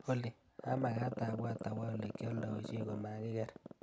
Olly, amakat abwat awoolekyaldaishe komakiker.